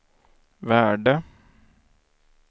värde